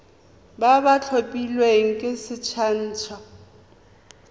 ba ba tlhophilweng ke sacnasp